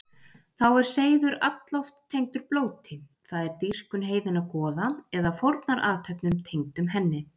Þá er seiður alloft tengdur blóti, það er dýrkun heiðinna goða, eða fórnarathöfnum tengdum henni.